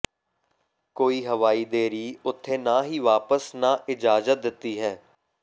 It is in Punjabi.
ਕੋਈ ਹਵਾਈ ਦੇਰੀ ਉੱਥੇ ਨਾ ਹੀ ਵਾਪਸ ਨਾ ਇਜਾਜ਼ਤ ਦਿੱਤੀ ਹੈ